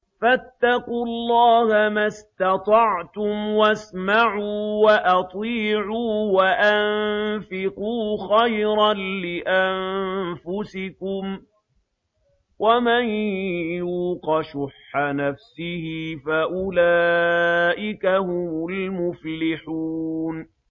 فَاتَّقُوا اللَّهَ مَا اسْتَطَعْتُمْ وَاسْمَعُوا وَأَطِيعُوا وَأَنفِقُوا خَيْرًا لِّأَنفُسِكُمْ ۗ وَمَن يُوقَ شُحَّ نَفْسِهِ فَأُولَٰئِكَ هُمُ الْمُفْلِحُونَ